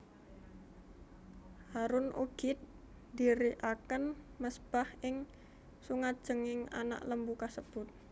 Harun ugi ndhirikaken mezbah ing sangajenging anak lembu kasebut